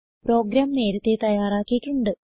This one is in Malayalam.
പ്രോഗ്രാം നേരത്തെ തയാറാക്കിയിട്ടുണ്ട്